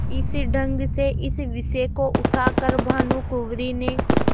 इस ढंग से इस विषय को उठा कर भानुकुँवरि ने